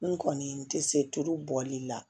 N kɔni n tɛ se tulu bɔli la